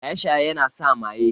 Shaye-shaye yana sa maye.